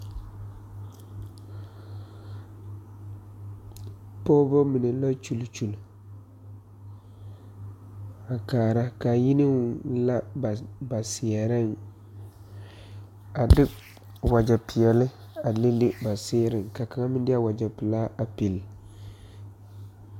Pɔgebamine la gyuli gyuli a kaara ka a yini la ka ba seɛrɛŋ a de wagyɛpelaa a le le ba sereŋ ka kaŋa meŋ pili.